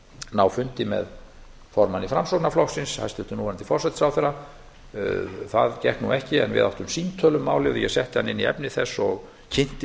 ná fundi með formanni framsóknarflokksins hæstvirtum núverandi forsætisráðherra það gekk nú ekki en við áttum símtöl um málið og ég setti hann inn í efni þess og kynnti